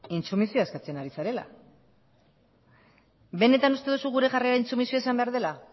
intsumisioa eskatzen ari zarela benetan uste duzu gure jarrera intsumisioa izan behar dela